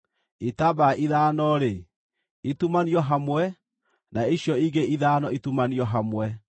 Itambaya ithano-rĩ, itumanio hamwe, na icio ingĩ ithano itumanio hamwe.